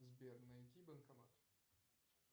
сбер найди банкомат